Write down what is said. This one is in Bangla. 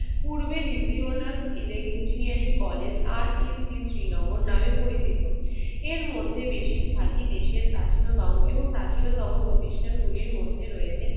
পূর্বের রিজিওনাল ইলেক~ ইঞ্জিনিয়ারিং কলেজ আর ইস্ট বিস্ট শ্রীনগর নামে পরিচিত। এর মধ্যে বেশিরভাগই দেশের প্রাচীনতম এবং প্রাচীনতম প্রতিষ্ঠানগুলির মধ্যে রয়েছে